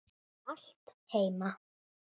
Allt heima.